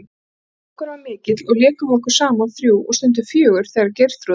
Samgangur var mikill og lékum við okkur saman þrjú og stundum fjögur þegar Geirþrúður